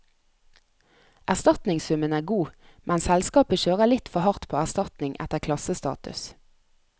Erstatningssummen er god, men selskapet kjører litt for hardt på erstatning etter klassestatus.